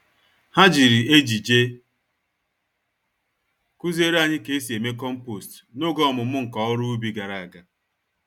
Ha jiri ejije kuziere anyị K'esi eme kompost n'oge ọmụmụ nka-oru-ubi gàrà ágá.